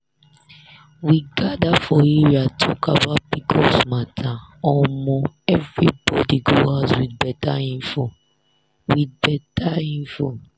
we gather for area talk about pcos matteromo everybody go huz with better info. with better info.